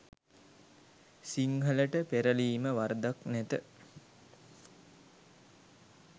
සිංහලට පෙරලීම වරදක් නැත